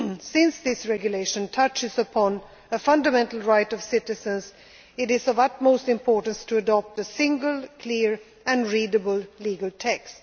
lawmaking. Since this Regulation touches upon a fundamental right of citizens, it is of the utmost importance to adopt a single, clear and readable